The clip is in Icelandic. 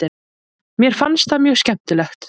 Mér fannst það mjög skemmtilegt.